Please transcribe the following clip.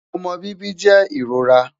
omọ bibi jẹ irora